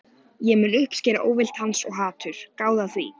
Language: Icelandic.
Ég mun uppskera óvild hans- og hatur, gáðu að því.